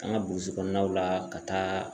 An ka burusi kɔnɔnaw la ka taa